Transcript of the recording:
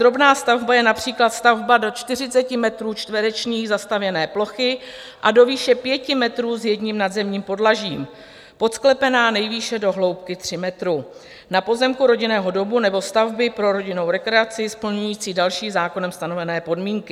Drobná stavba je například stavba do 40 metrů čtverečních zastavěné plochy a do výše 5 metrů s jedním nadzemním podlažím, podsklepená nejvýše do hloubky 3 metrů, na pozemku rodinného domu nebo stavby pro rodinnou rekreaci, splňující další zákonem stanovené podmínky.